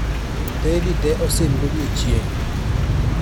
teyni te osim godiechieng'